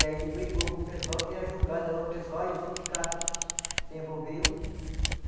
E aí ele brigou com o pessoal, queria julgar de lá o pessoal e o sindicato se envolveu.